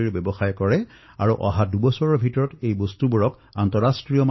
মোৰ সম্পূৰ্ণ বিশ্বাস যে আত্মনিৰ্ভৰ ভাৰত অভিযান এই দশকত দেশক নতুন উচ্চতালৈ লৈ যাব